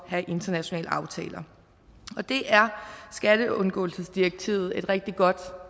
have internationale aftaler det er skatteundgåelsesdirektivet et rigtig godt